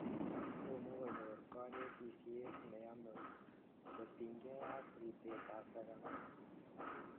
Tomo konyor kanetisiet ne yome kotiny kei ak ripset ap sagamik